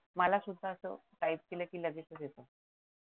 मला सुद्धा असं टाईप केलं ते लगेचच येत.